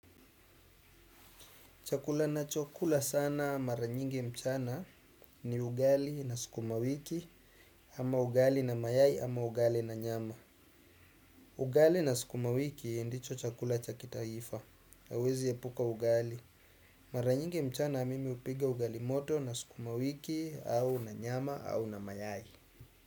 Chakula ninachokula sana mara nyingi mchana ni ugali na sukumawiki ama ugali na mayai ama ugali na nyama. Ugali na sukumawiki ndicho chakula cha kitaifa. Hauwezi epuka ugali. Mara nyingi mchana mimi hupika ugali moto na sukuma wiki au na nyama au na mayai.